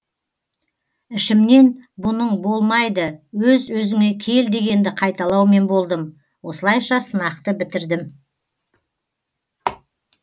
ішімнен бұның болмайды өз өзіңе кел дегенді қайталаумен болдым осылайша сынақты бітірдім